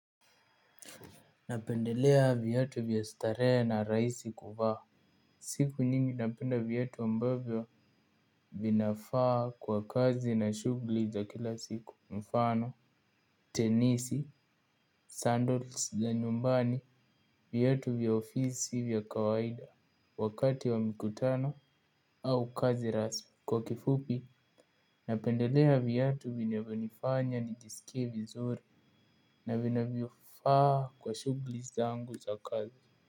Napendelea viatu vya starehe na rahisi kuvaa. Siku niyingi napenda viatu ambavyo vinafaa kwa kazi na shughuli za kila siku mfano tenisi sandals za nyumbani viatu vya ofisi vya kawaida wakati wa mikutano au kazi rasmi. Kwa kifupi napendelea viatu vinavyonifanya nijisikie vizuri na vinavyofaa kwa shughuli zangu za kazi.